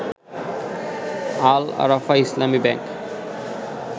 Al Arafah Islami bank